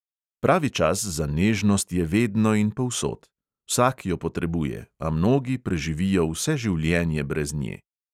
Pravi čas za nežnost je vedno in povsod: vsak jo potrebuje, a mnogi preživijo vse življenje brez nje.